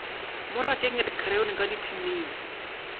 mo rakeng dikrayoni ka dithining